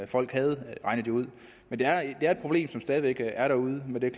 folk havde regnet det ud men det er et problem som stadig væk er derude men det er